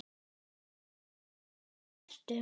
Æ, amma, hvar ertu?